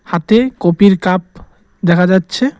হাতে কপির কাপ দেখা যাচ্ছে।